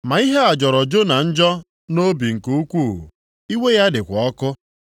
Ma ihe a jọrọ Jona njọ nʼobi nke ukwuu, iwe ya dịkwa ọkụ.